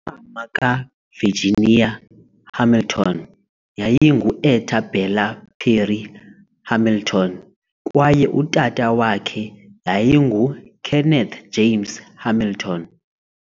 Umama kaVirginia Hamilton yayingu-Etta Bella Perry Hamilton kwaye utata wakhe yayinguKenneth James Hamilton.